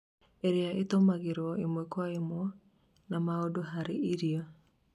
iria itũmagĩrwo ĩmwe kwa ĩmwe na mũndũ harĩ irio